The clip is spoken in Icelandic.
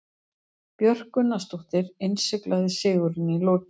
Björk Gunnarsdóttir innsiglaði sigurinn í lokin.